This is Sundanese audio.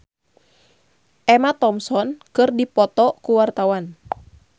Ussy Sulistyawati jeung Emma Thompson keur dipoto ku wartawan